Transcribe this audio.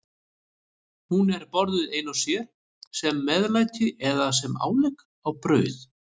Hún er borðuð ein og sér, sem meðlæti eða sem álegg á brauð.